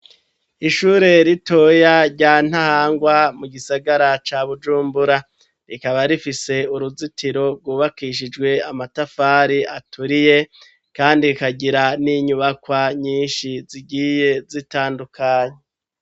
Ishure ritoya rya Ntahangwa, mu gisagara ca Bujumbura, rikaba rifise uruzitiro rwubakishijwe amatafari aturiye kandi rikagira n'inyubakwa nyinshi zigiye zitandukanye.